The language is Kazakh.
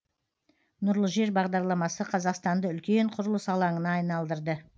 нұрлы жер бағдарламасы қазақстанды үлкен құрылыс алаңына айналдырды